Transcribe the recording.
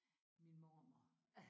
Min mormor